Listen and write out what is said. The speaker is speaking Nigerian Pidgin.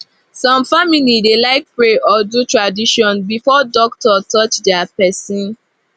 some family dey like pray or do tradition before doctor touch their person